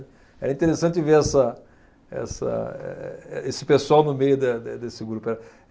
É interessante ver essa, essa, eh, eh, esse pessoal no meio de, de, desse grupo.